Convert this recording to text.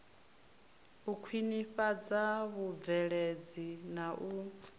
u khwinifhadza vhubveledzi na u